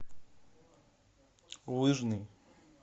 лыжный